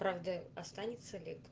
правда останется ли